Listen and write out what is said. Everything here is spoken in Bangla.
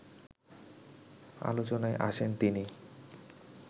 আলোচনায় আসেন তিনি